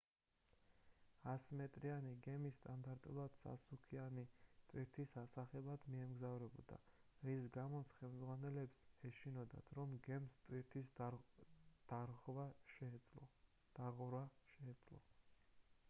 100 მ-იანი გემი სტანდარტულად სასუქიანი ტვირთის ასაღებად მიემგზავრებოდა რის გამოც ხელმძღვანელებს ეშინოდათ რომ გემს ტვირთის დაღვრა შეეძლო